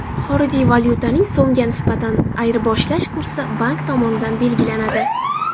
Xorijiy valyutaning so‘mga nisbatan ayirboshlash kursi bank tomonidan belgilanadi.